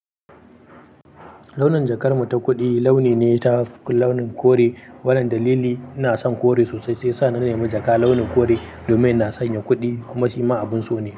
Launin jakar mu ta kuɗi launi ne ta launin kore. Wannan dalili ina son kore sosai sai ya sa na nemi jaka launin kore domin ina sanya kuɗi kuma shi ma abun so ne.